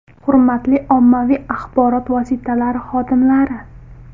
Hurmatli ommaviy axborot vositalari xodimlari!